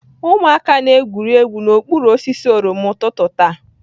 Ụmụaka na-egwuri egwu n'okpuru osisi oroma ụtụtụ taa.